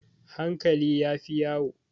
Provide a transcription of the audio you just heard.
Hankali ya fi yawo.